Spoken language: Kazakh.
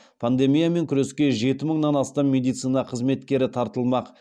пандемиямен күреске жеті мыңнан астам медицина қызметкері тартылмақ